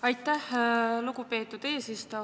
Aitäh, lugupeetud eesistuja!